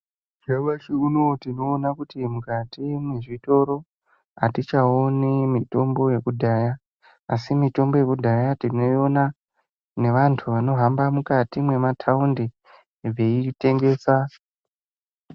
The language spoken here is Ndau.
Nyamashi unowu tinoona kuti mukati mwezvitoro hatichaoni mitombo yekudhaya asi mitombo yekudhaya tinoiona nevantu vanohamba mwukati mwemataundi veiitengesa.